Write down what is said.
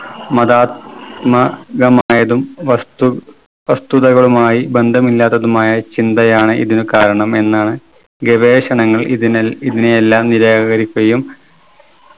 മതാത്മകമായതും വസ്തു വസ്തുതകളുമായി ബന്ധമില്ലാതതുമായ ചിന്തയാണ് ഇതിനു കാരണം എന്നാണ് ഗവേഷണങ്ങൾ ഇതിനെ ഇതിനെയെല്ലാം നിരാകരിക്കുകയും